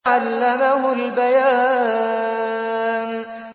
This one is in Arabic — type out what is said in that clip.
عَلَّمَهُ الْبَيَانَ